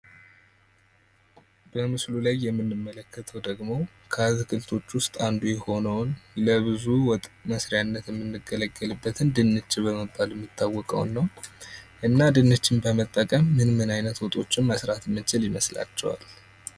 በምስሉ ላይ የምንመለከተው ድግሞ ከአትክልቶች ዉስጥ አንዱ የሆነዉን ለብዙ ወጥ መስርያነት ምንገለገልበተን ድንች በመባል የሚታወቀዉን ነው :: እና ድንች በመጠቀም ምንምን አይነት ወጦችን መስራት የምንችል ይመስላቹሃል?